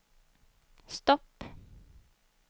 stopp